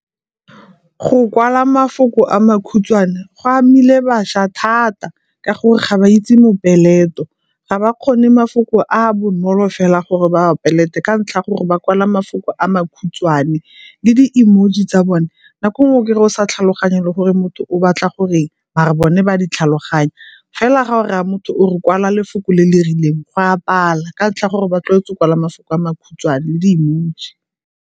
Go kwala mafoko a makhutshwane go amile bašwa thata ka gore ga ba itse mopeleto. Ga ba kgone mafoko a a bonolo fela gore ba a peleto ka ntlha gore ba kwala mafoko a makhutswane le di-emoji tsa bone nako e nngwe o kry-a o sa tlhaloganye le gore motho o batla goreng mara bone ba a di tlhaloganya. Fela ga o raya motho o re kwala lefoko le le rileng go a pala ka ntlha ya gore ba tlwaetswe go kwala mafoko a makhutshwane le di-emoji.